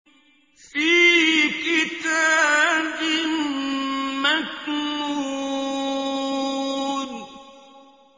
فِي كِتَابٍ مَّكْنُونٍ